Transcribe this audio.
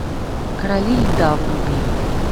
короли льда вруби